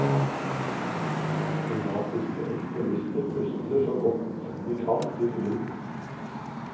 Kroatiske ekstremister puster så godt de kan til ilden.